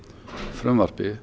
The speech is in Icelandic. frumvarpi